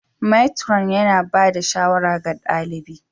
matron yana ba da shawara ga ɗalibi